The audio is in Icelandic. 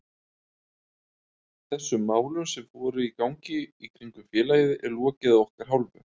Þessum málum sem voru í gangi í kringum félagið er lokið að okkar hálfu.